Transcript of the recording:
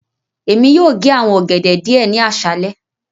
Emi yóò ge awọn ogede diẹ ni aṣalẹ.